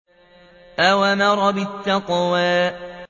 أَوْ أَمَرَ بِالتَّقْوَىٰ